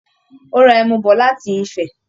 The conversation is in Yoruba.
Ó ra ẹmu bọ̀ láti Ifẹ̀